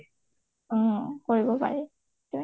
অ কৰিব পাৰি